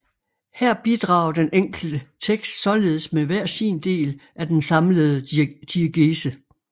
Her bidrager den enkelte tekst således med hver sin del af den samlede diegese